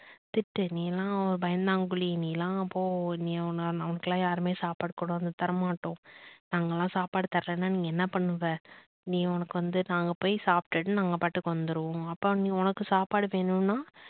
திட்டு நீ எல்லாம் பயந்தாங்கோலி நீ எல்லாம் போ நீ உன்னால உனக்கு யாருமே சாப்பாடு கொண்டு வந்து தர மாட்டோம் நாங்க எல்லாம் சாப்பாடு தரலனா நீ என்ன பண்ணுவ? நீ உனக்கு வந்து நாங்க போய் சாப்டுட்டு நாங்க மாட்டுக்கு வந்துருவோம். அப்ப நீ உனக்கு சாப்பாடு வேணும்னா